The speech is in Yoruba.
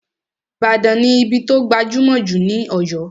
Ìbàdàn ní ibí tó gbajúmọ̀ jù ní Ọ̀yọ́